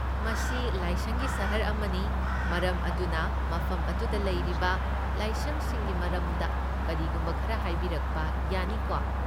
ꯃꯁꯤ ꯂꯥꯏꯁꯪꯒꯤ ꯁꯍꯔ ꯑꯃꯅꯤ, ꯃꯔꯝ ꯑꯗꯨꯅ ꯃꯐꯝ ꯑꯗꯨꯗ ꯂꯩꯔꯤꯕ ꯂꯥꯏꯁꯪꯁꯤꯡꯒꯤ ꯃꯔꯝꯗ ꯀꯔꯤꯒꯨꯝꯕ ꯈꯔ ꯍꯥꯏꯕꯤꯔꯛꯄ ꯌꯥꯅꯤꯀꯣ?